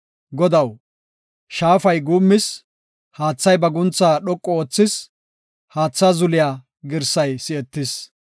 Godaw, shaafay guummis; haathay ba guuntha dhoqu oothis haatha zuliya girsay si7etis.